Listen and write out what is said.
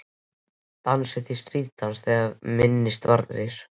Dansið þið stríðsdans þegar minnst varir?